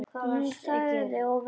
Hún þagði og var hugsi.